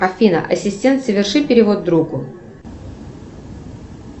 афина ассистент соверши перевод другу